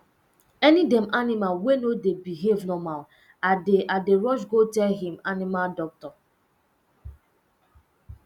any um animal wey no dey behave normal i dey i dey rush go tell um animal doctor